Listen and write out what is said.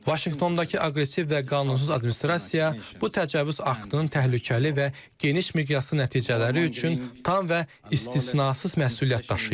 Vaşinqtondakı aqressiv və qanunsuz administrasiya bu təcavüz aktının təhlükəli və geniş miqyaslı nəticələri üçün tam və istisnasız məsuliyyət daşıyır.